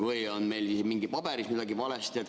Või on meil mingites paberites midagi valesti?